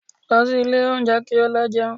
Lọ sí ilé oúnjẹ kí o lọ jẹun